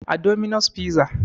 A dominos fiza